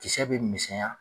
Kisɛ bɛ misɛnya